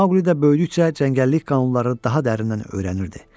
Maqlidə böyüdükcə cəngəllik qanunları daha dərindən öyrənirdi.